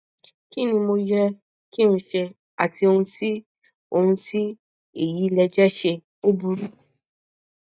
kí ni mo yẹ kí n ṣe àti ohun tí àti ohun tí èyí lè jẹ ṣe ó burú